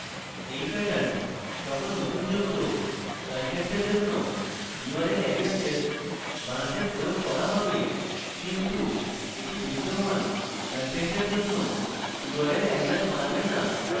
এই pattern সকল নতুন যুক্ত contents জন্য url aliases বানাতে প্রয়োগ করা হবে কিন্তু এটি বিদ্যমান contents জন্য url alias বানাবে না